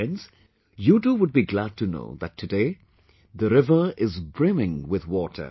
Friends, you too would be glad to know that today, the river is brimming with water